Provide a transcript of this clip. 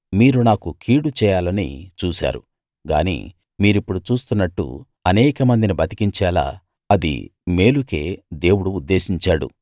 మీరు నాకు కీడు చేయాలని చూశారు గానీ మీరిప్పుడు చూస్తున్నట్టు అనేకమందిని బతికించేలా అది మేలుకే దేవుడు ఉద్దేశించాడు